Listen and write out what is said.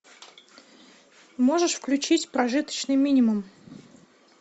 можешь включить прожиточный минимум